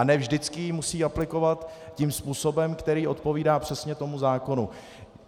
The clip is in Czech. A ne vždycky ji musí aplikovat tím způsobem, který odpovídá přesně tomu zákonu.